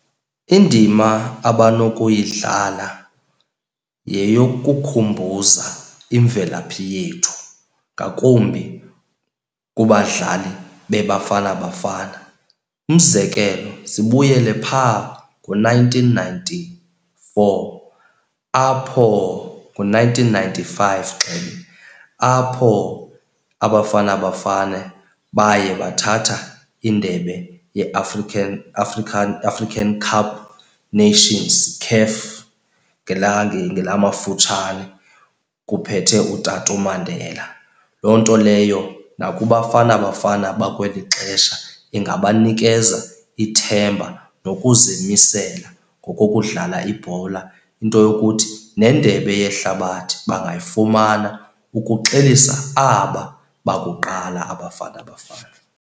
Indima abanokuyidlala yeyokukhumbuza imvelaphi yethu, ngakumbi kubadlali beBafana Bafana. Umzekelo sibuyele phaa ngo-nineteen ninety-four apho, ngo-nineteen ninety-five apho aBafana Bafana baye bathatha indebe yeAfrican African African Cup Nations, CAF ngelamafutshane kuphethe utata uMandela. Loo nto leyo nakuBafana Bafana bakweli xesha ingabanikeza ithemba nokuzimisela ngokokudlala ibhola. Into yokuthi nendebe yehlabathi bangayifumana ukuxelisa aba bakuqala aBafana Bafana.